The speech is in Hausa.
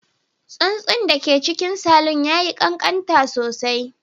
Tsuntsun da ke cikin salon ya yi ƙanƙanta sosai